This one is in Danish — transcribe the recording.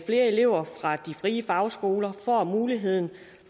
elever fra de frie fagskoler får muligheden